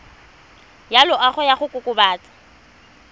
ya loago ya go kokobatsa